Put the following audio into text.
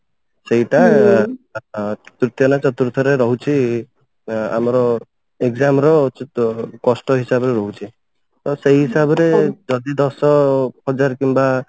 ସେଇଟା ଆ ତୃତୀୟ ନା ଚତୁର୍ଥରେ ରହୁଛି ଆମର exam ର କଷ୍ଟ ହିସାବରେ ରହୁଛି ତ ସେଇ ହିସାବରେ ଯଦି ଦଶ ହଜାର କିମ୍ବା